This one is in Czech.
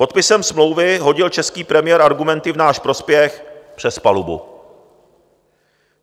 Podpisem smlouvy hodil český premiér argumenty v náš prospěch přes palubu.